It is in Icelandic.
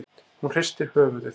Hún hristir höfuðið.